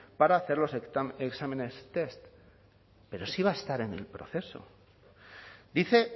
para hacer los exámenes test pero sí va a estar en el proceso dice